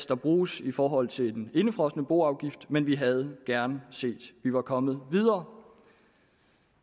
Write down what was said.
der bruges i forhold til den indefrosne boafgift men vi havde gerne set at vi var kommet videre